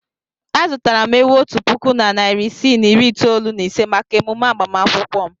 Azụtara m ewu otu puku na narị isii na iri itoolu na ise maka emume agbamakwụkwọ m.